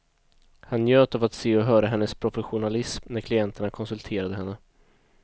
Han njöt av att se och höra hennes professionalism när klienterna konsulterade henne.